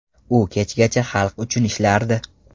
U kechgacha xalq uchun ishlardi.